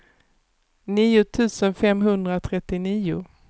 nio tusen femhundratrettionio